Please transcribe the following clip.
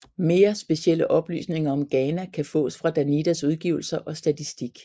Mere specielle oplysninger om Ghana kan fås fra Danidas udgivelser og statistik